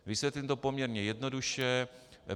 Vysvětlím to poměrně jednoduše.